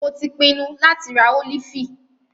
Mo tí pinnu láti rá ólífì.